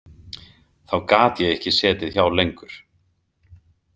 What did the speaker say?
Þá gat ég ekki setið hjá lengur.